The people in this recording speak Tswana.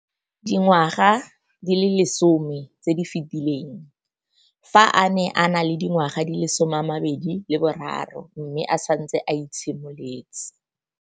Dingwaga di le 10 tse di fetileng, fa a ne a le dingwaga di le 23 mme a setse a itshimoletse.